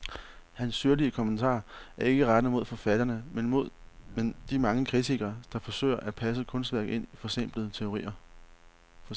Hans syrlige kommentarer er ikke rettet mod forfatterne, men de mange kritikere, der forsøger at passe kunstværket ind i forsimplende teorier.